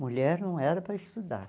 Mulher não era para estudar.